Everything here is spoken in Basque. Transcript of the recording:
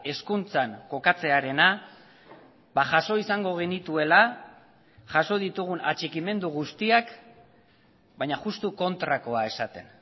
hezkuntzan kokatzearena jaso izango genituela jaso ditugun atxikimendu guztiak baina justu kontrakoa esaten